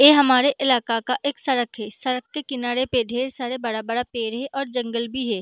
ये हमारे इलाका का एक सड़क है सड़क के किनारे पे ढेर सारा बड़ा- बड़ा पेड़ है और जंगल भी है।